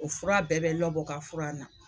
O fura bɛɛ bɛ Lɔbɔ ka fura na.